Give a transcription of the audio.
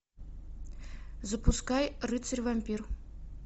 запускай рыцарь вампир